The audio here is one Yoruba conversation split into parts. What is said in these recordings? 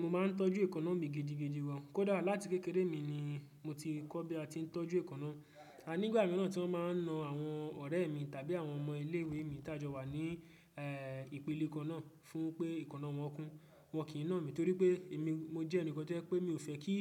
Mo máa ń tọ́jú èékánná mi gidigidi gan. Kódà, láti kékeré mi ni mo ti kọ́ bí a ti ń tọ́jú èékánná. A, nígbà mìíràn tí wọ́n máa ń na àwọn ọ̀rẹ́ mi tàbí àwọn ọmọ ilé ìwé mi ta jọ wà ní, eeh, ìpele kan náà fún pé èékánná wọn kún. Wọn kìí na mí torí pé èmi, mo jẹ́ ẹnìkan tó jẹ pé mi ò fẹ́ kí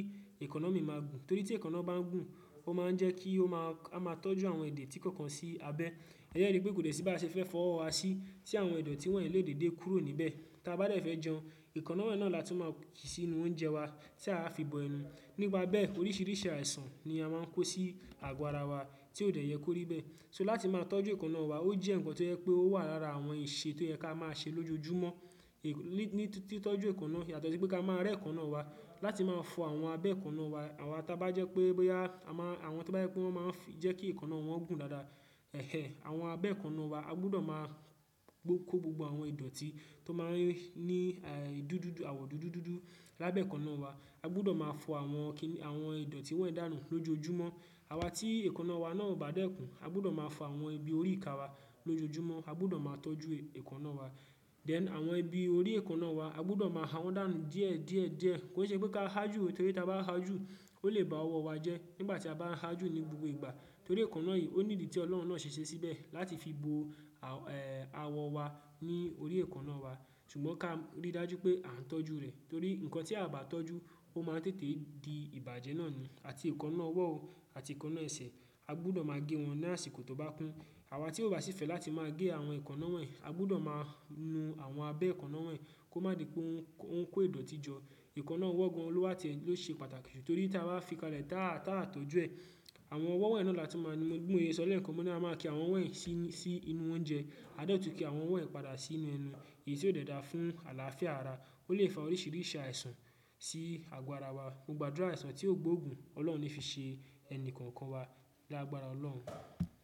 èékánná mi máa gùn. Torí tí èkọ̀nà bá gùn, ó máa ń jẹ́ kí ó máa, a máa tọ́jú àwọn èdè tí kankan sí abẹ́. Èyí ni pé kò dẹ̀ sí baá ṣe fẹ́ fọ́wọ́ wa sí, tí àwọn ìdọ̀tí wọ́nyii lè dède kúrò níbẹ̀. Tí a bá dẹ̀ fẹ́ jẹun, èékánná wonyii na la tún máa kì sí inú oúnjẹ wa, tí àá fi bọ ẹnu. Nípa bẹ́ẹ̀, oríṣiríṣi àìsàn ni a máa ń kó sí àgọ́ ara wa tí óò dẹ̀ yẹ kó rí bẹ́ẹ̀. So láti máa tọ́jú èékánná wa, ó jẹ́ ǹkan tó jẹ pé ó wà lára àwọn ìṣe tó yẹ ká máa ṣe lójoojúmọ́. Ní, ní, tí tọ́jú èékánná yàtọ̀ sí pé ká máa rẹ́ èékánná wa láti máa fọ àwọn abẹ́ èékánná wa. Àwa tá bá jẹ́ pé, boyaa, àwọn tó bá jẹ́ pé wọ́n máa ń jẹ́ kí èékánná wọn gùn dáadáa, ẹhéh, àwọn abẹ́ èékánná wa, a gbudọ̀ máa gbó kó gbogbo àwọn ìdọ̀tí tó máa ń ní, àyè, dúdú, àwọ̀ dúdú dúdú lábẹ́ èékánná wa. A gbudọ̀ máa fọ àwọn kíni, àwọn ìdọ̀tí wọ́nyii dànù lójoojúmọ́. Àwa tí èékánná wa náà ò bá dẹ̀ gùn, a gbudọ̀ máa fọ àwọn ibi orí ìka wa lójoojúmọ́. A gbọdọ̀ máa tọ́jú èkọ̀nà wa. Then, àwọn ibi orí èkọ̀nà wa, a gbudọ̀ máa ha wọ́n dànù díẹ̀ díẹ̀ díẹ̀. Kòo ṣe pé ká haa jù torí tí a bá haa jù ó lè ba ọwọ́ wa jẹ́ nígbà tí a bá ń haa jù ní gbogbo ìgbà. Torí èékánná yìí ó ní ìdí tí Ọlọ́run náà ṣe ṣee síbẹ̀ láti fi bo, awọ̀n, eeh, àwọ̀ wa ní orí èékánná wa. Ṣùgbọ́n ká rí dájú pé à ń tọ́jú rẹ̀. Torí ǹkan tí aa bá tọ́jú ó máa ń tètè di ìbàjẹ́ náà ni. Àti èékánná ọwọ́ o àti èékánná ẹsẹ̀, a gbọdọ̀ máa gé wọn ní àsìkò tó bá kún. Àwa tí ò bá sì fẹ́ láti máa gé àwọn èékánná wonyii, a gbudọ̀ máa nu àwọn abẹ́ èékánná wonyii kó má di pé o n, o n kọ́ ìdọ̀tí jọ. Èékánná ọwọ́ gan lọ́ wa tiẹ́ ló ṣe pàtàkì ju. Torí tí a bá fi kalẹ̀ táá, táa tọ́jú ẹ̀, àwọn ọwọ́ wọ́nyii náà la tún máa ń mú bí mo ṣe sọ lẹ́ẹ̀kan mo ní a máa kì àwọn ọwọ́ yìí sí, sí inú oúnjẹ àá dẹ̀ tún kì àwọn ọwọ́ yìí padà sínú ẹnu, èyí tí ò dẹ̀ dá fún àlàáfíà ara ó lè fa oríṣiríṣi àìsàn sí àgọ́ ara wa, mo gbàdúrà àìsàn tí ó gbóògùn ọlọ́run ò ní fi ṣe ẹni kankan wa, lágbára ọlọ́run.